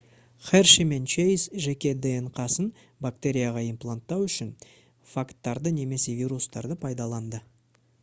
херши мен чейз жеке днқ-сын бактерияға импланттау үшін фагтарды немесе вирустарды пайдаланды